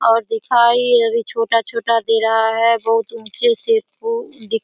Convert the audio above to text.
और दिखाई अभी छोटा-छोटा दे रहा है बहुत उच्चे से वो दि --